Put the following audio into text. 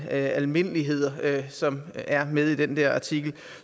er almindeligheder som er med i den artikel